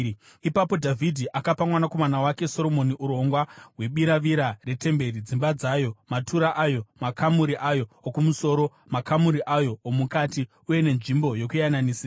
Ipapo Dhavhidhi akapa mwanakomana wake Soromoni urongwa hwebiravira retemberi, dzimba dzayo, matura ayo, makamuri ayo okumusoro, makamuri ayo omukati uye nenzvimbo yokuyananisira.